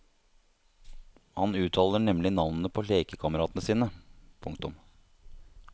Han uttaler nemlig navnene på lekekameratene sine. punktum